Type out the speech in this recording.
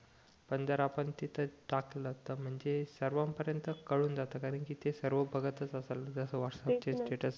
पण जर आपण तिथे टाकलं तर म्हणजे सर्वान परेंत कडून जात कारण कि ते सर्व बघतच असतात जस व्हाट्सअप चे स्टेटस